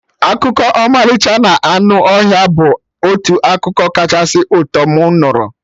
Akụkọ ọmalịcha na anụ ọhịa bụ otu akụkọ kachasị ụtọ mụ nụrụ